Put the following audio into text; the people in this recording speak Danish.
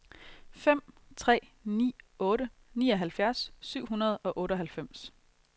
fem tre ni otte nioghalvfjerds syv hundrede og otteoghalvfems